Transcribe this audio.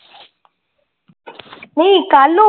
ਨਹੀਂ ਕੱਲ